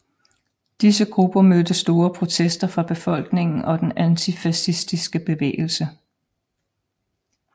Disse grupper mødte store protester fra befolkningen og den antifascistiske bevægelse